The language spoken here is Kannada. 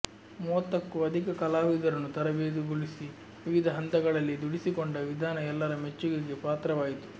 ಮೂವತ್ತಕ್ಕೂ ಅಧಿಕ ಕಲಾವಿದರನ್ನು ತರಬೇತುಗೊಳಿಸಿ ವಿವಿಧ ಹಂತಗಳಲ್ಲಿ ದುಡಿಸಿಕೊಂಡ ವಿಧಾನ ಎಲ್ಲರ ಮೆಚ್ಚುಗೆಗೆ ಪಾತ್ರವಾಯಿತು